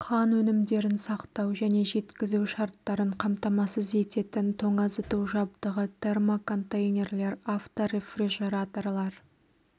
қан өнімдерін сақтау және жеткізу шарттарын қамтамасыз ететін тоңазыту жабдығы термоконтейнерлер авторефрижераторлар